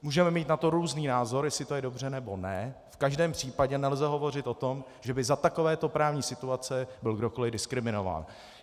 Můžeme mít na to různý názor, jestli to je dobře, nebo ne, v každém případě nelze hovořit o tom, že by za takovéto právní situace byl kdokoliv diskriminován.